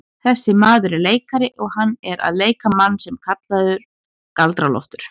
Þessi maður er leikari og hann er að leika mann sem var kallaður Galdra-Loftur.